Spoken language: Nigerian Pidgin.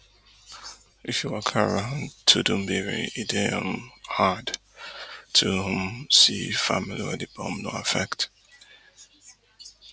if you waka around tudunbiri e dey um hard to um see family wey di bomb no affect